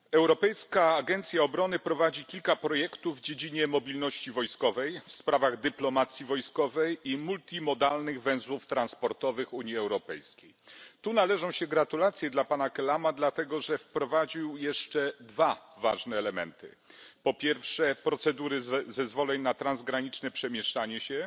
Panie Przewodniczący! Europejska Agencja Obrony prowadzi kilka projektów w dziedzinie mobilności wojskowej, w sprawach dyplomacji wojskowej i multimodalnych węzłów transportowych Unii Europejskiej. Tu należą się gratulacje dla pana Kelama, dlatego że wprowadził jeszcze dwa ważne elementy procedury zezwoleń na transgraniczne przemieszczanie się